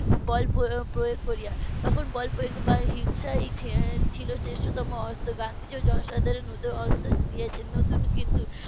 বল প্রয়োগ করে তখন বল প্রয়োগ করে বা হিংসাই ছিল শ্রেষ্ঠ তম অস্ত্র গান্ধীজি ও জনসাধারণ হতে অস্ত্র দিয়েছেন নতুন কিন্তু